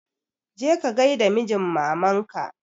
Je ka gai da mijin maman ka!